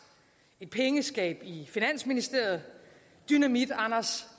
et pengeskab i finansministeriet dynamit anders